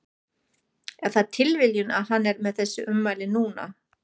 Er það tilviljun að hann er með þessi ummæli núna?